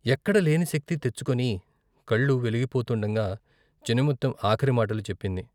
ఎక్కడ లేనిశక్తి తెచ్చుకొని కళ్లు వెలిగిపోతుండగా చినముత్తెం ఆఖరి మాటలు చెప్పింది.